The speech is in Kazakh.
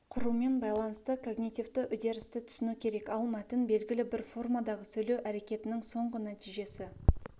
құрумен байланысты когнитивті үдерісті түсіну керек ал мәтін белгілі бір формадағы сөйлеу әрекетінің соңғы нәтижесі